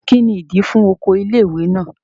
Kí ni ìdí i fún oko ilé ìwé náà?